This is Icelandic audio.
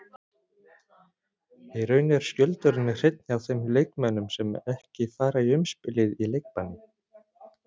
Í raun er skjöldurinn hreinn hjá þeim leikmönnum sem ekki fara í umspilið í leikbanni.